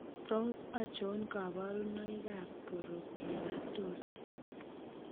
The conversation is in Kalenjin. Tos achon kabarunaik ab Porokeratosis ?